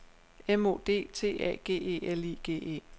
M O D T A G E L I G E